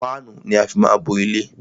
Páánù ni á má fí ń bo ilé.